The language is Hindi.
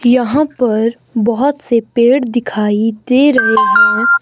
यहां पर बहोत से पेड़ दिखाई दे रहे हैं।